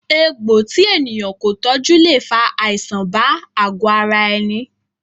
Egbò tí ènìyàn kò tọjú le fa àìsàn bá àgo ara ẹni